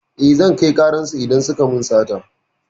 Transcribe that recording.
Eh, zan kai ƙarar su idan suka min sata.